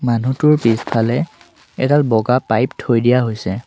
মানুহটোৰ পিছফালে এডাল বগা পাইপ থৈ দিয়া হৈছে।